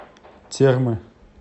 термы